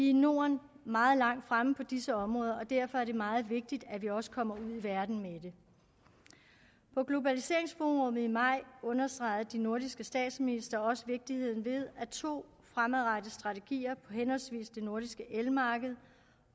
i norden meget langt fremme på disse områder og derfor er det meget vigtigt at vi også kommer ud i verden med det på globaliseringsforummet i maj understregede de nordiske statsministre også vigtigheden af to fremadrettede strategier henholdsvis på det nordiske elmarked